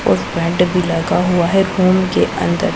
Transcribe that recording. और पैंट भी लगा हुआ है फोन के अंदर--